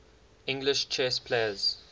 english chess players